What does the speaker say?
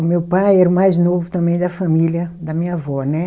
O meu pai era o mais novo também da família da minha avó, né?